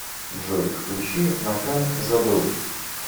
джой включи макан забыл